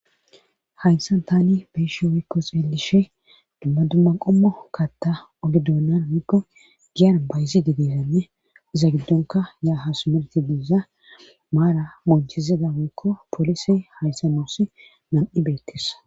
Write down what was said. Haysan tani beyshe oykko xeelishe dumma dumma qommo katta ogi duonnan woykko giyan bayzi de deeranne iza giddonka yaa ha sumerti biiza maara monchizida woykko poolise hayssa noossi nan'i beettesa.